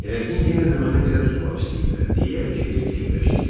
“Yəqin yenə də məni dilə tutmaq istəyirlər,” – deyə Kibər fikirləşdi.